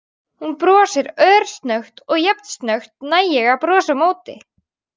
Hún brosir örsnöggt og jafn snöggt næ ég að brosa á móti.